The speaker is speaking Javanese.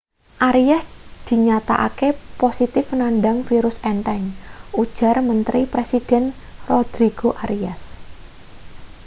arias dinyatakake positif nandang virus entheng ujar menteri presiden rodrigo arias